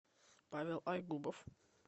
павел айгубов